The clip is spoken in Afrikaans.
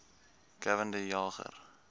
gavin de jager